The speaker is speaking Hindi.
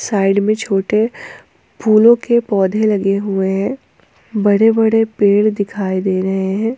साइड में छोटे फूलों के पौधे लगे हुए हैं बड़े बड़े पेड़ दिखाई दे रहे हैं।